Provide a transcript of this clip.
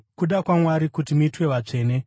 Kuda kwaMwari kuti muitwe vatsvene: